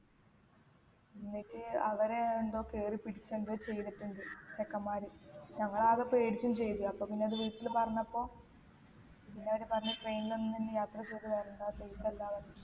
എന്നിട്ട് അവരെ എന്തോ കേറി പിടിച്ച് എന്തോ ചെയ്തിട്ടുണ്ട് ചെക്കന്മാർ ഞങ്ങൾ ആകെ പേടിച്ചും ചെയ്ത് അപ്പൊ പിന്നെ അത് വീട്ടിൽ പറഞ്ഞപ്പോ എല്ലാരും പറഞ്ഞ് train ൽ ഒന്നും ഇനി യാത്ര കേറി വരണ്ട safe അല്ലാന്നൊക്കെ